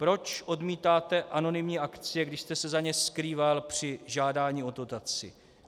Proč odmítáte anonymní akcie, když jste se za ně skrýval při žádání o dotaci?